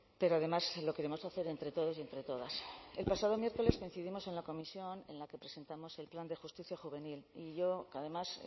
pero además lo queremos hacer entre todos y entre todas el pasado miércoles coincidimos en la comisión en la que presentamos el plan de justicia juvenil y yo además